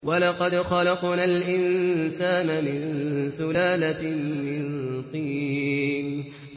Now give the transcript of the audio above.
وَلَقَدْ خَلَقْنَا الْإِنسَانَ مِن سُلَالَةٍ مِّن طِينٍ